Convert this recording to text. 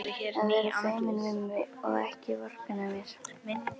Að vera ekki feiminn við mig og ekki vorkenna mér!